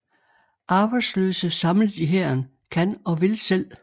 Arbejdsløse samlet i hæren kan og vil selv